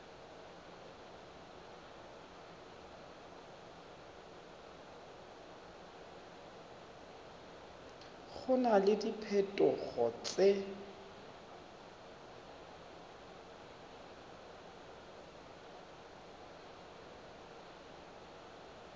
go na le diphetogo tse